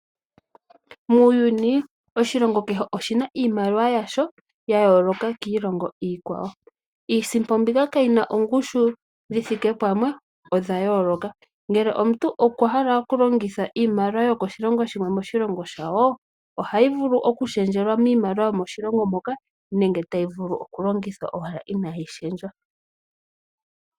Muuyuni oshilongo kehe oshina iimaliwa yasho yayoloka kiilongo iikwawo. Iisimpo mbika kayina ongushu dhi thike pamwe, odha yooloka. Ngele omuntu okwa hala oku longitha iimaliwa yokoshilongo shimwe moshilongo shawo, ohayi vulu oku shendjelwa miimaliwa yomoshilongo moka nenge tayi vulu oku longithwa owala inaayi shendjwa.